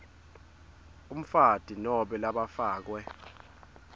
umfati nobe labafakwe